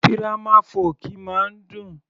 Dírámà fọ́ọ̀kì máa ń dùn